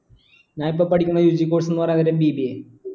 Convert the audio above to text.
ഞാൻ ഇപ്പൊ പഠിക്കണ UG Course ന്ന് പറീണത് BBA